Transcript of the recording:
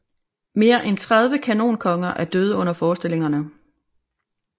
Mere end 30 kanonkonger er døde under forestillingerne